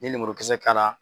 Ne ye lemurukisɛ k'ala